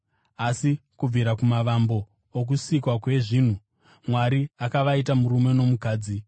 Asi kubvira kumavambo okusikwa kwezvinhu, Mwari ‘akavaita murume nomukadzi.’